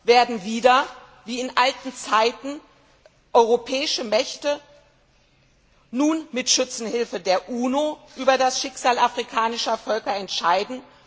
Werden wieder, wie in alten Zeiten, europäische Mächte nun mit Schützenhilfe der UNO über das Schicksal afrikanischer Völker entscheiden?